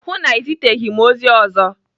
Hụụ na Ị ziteghị m ozi ọzọ.